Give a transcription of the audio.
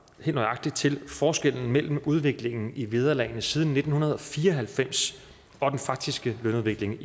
helt nøjagtigt til forskellen mellem udviklingen i vederlagene siden nitten fire og halvfems og den faktiske lønudvikling